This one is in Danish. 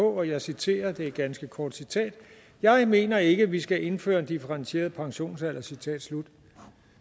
og jeg citerer det er et ganske kort citat jeg mener ikke vi skal indføre en differentieret pensionsalder citat slut